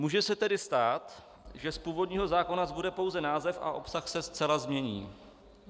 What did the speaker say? Může se tedy stát, že z původního zákona zbude pouze název a obsah se zcela změní.